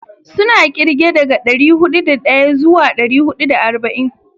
Suna kirge daga dari hudu da daya zuwa dari hudu da arba'in.